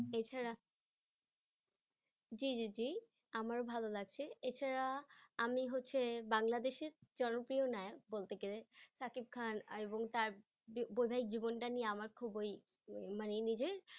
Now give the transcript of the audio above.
এছাড়া জি জি জি আমারও ভালো লাগছে এছাড়া আমি হচ্ছে বাংলাদেশের জনপ্রিয় নায়ক বলতে গেলে শাকিব খান এবং তার বৈবাহিক জীবনটা নিয়ে আমার খুব ওই মানে নিজের